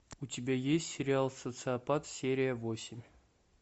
у тебя есть сериал социопат серия восемь